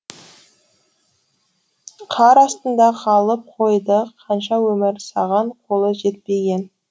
қар астында қалып қойды қанша өмір саған қолы жетпеген